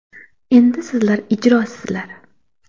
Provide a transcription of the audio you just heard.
Endi sizlar ijrosizlar.